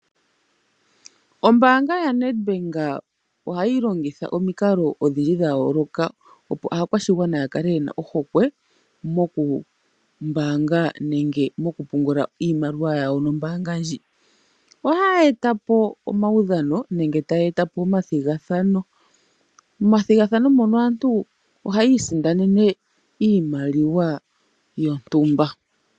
Ombaanga yaNedbank ohayi longitha omikalo odhindji dha yooloka, opo aakwashigwana ya kale yena ohokwe mokumbaanga nenge mokupungula iimaliwa yawo nombaanga ndji. Ohaya etapo omaudhano nenge taya etapo omathigathano, momathigathano mono aantu ohayi isindanena iimaliwa yontumba.